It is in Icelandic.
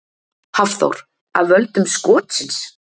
Hafþór: Af völdum skotsins?